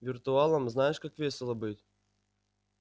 виртуалом знаешь как весело быть